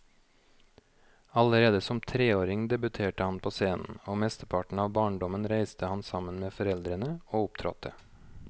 Allerede som treåring debuterte han på scenen, og mesteparten av barndommen reiste han sammen med foreldrene og opptrådte.